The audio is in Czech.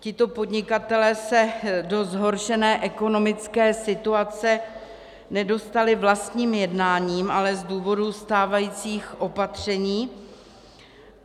Tito podnikatelé se do zhoršené ekonomické situace nedostali vlastním jednáním, ale z důvodu stávajících opatření.